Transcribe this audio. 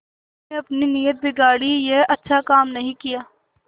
तुमने अपनी नीयत बिगाड़ी यह अच्छा काम नहीं किया